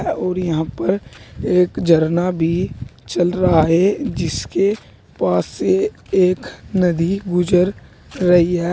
और यहां पर एक झरना भी चल रहा है जिसके पास से एक नदी गुजर रही है।